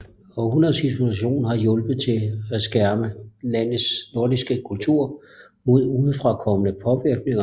Århundreders isolation har hjulpet til med at skærme landets nordiske kultur mod udefrakommende påvirkninger